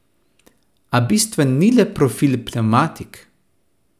A bistven ni le profil pnevmatik.